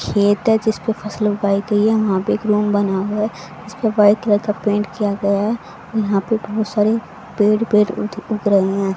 खेत है जिस पे फसल उगाई गई है वहां पे एक रूम बना हुआ है जिस पे व्हाइट कलर का पेंट किया गया है और यहां पे बहुत सारे पेड़ ही पेड़ उग उग रहे हैं।